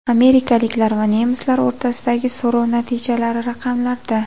Amerikaliklar va nemislar o‘rtasidagi so‘rov natijalari raqamlarda.